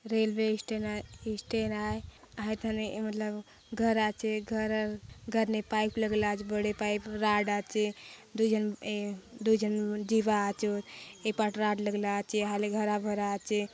Railway station station आय हायथाने ए मतलब घर आचे घरर घर ने पाइप लगला आछे बड़े पाइप राड़ आचे दु जन ए दुय जन जीवा आचोत ए पाट राड़ लगला आचे हाय लगे हरा- भरा आचे।